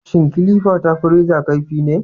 Shin kilifa ta fi reza kaifi ne?